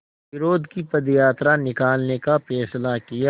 विरोध की पदयात्रा निकालने का फ़ैसला किया